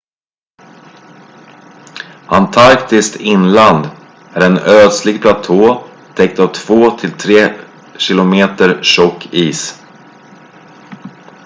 antarktis inland är en ödslig platå täckt av 2-3 km tjock is